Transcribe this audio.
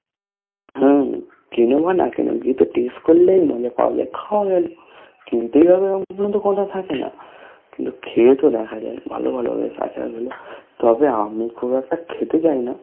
হ্যা কিনো বা না কিনো গিয়ে তো taste করলেই মজা পাওয়া যায় । খাও কিনতেই হবে অমন কোনো তো কথা থাকে না । কিন্তু খেয়ে তো দেখা যায় ভালো ভালো হয় আচার গুলো, তবে আমি খুব একটা খেতে যাই না